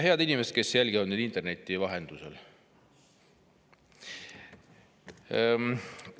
Head inimesed, kes te jälgite meid interneti vahendusel!